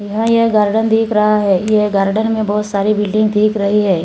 यह ये गार्डन दिख रहा है यह गार्डन में बहोत सारी बिल्डिंग दिख रही है।